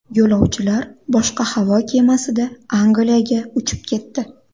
Yo‘lovchilar boshqa havo kemasida Angliyaga uchib ketdi.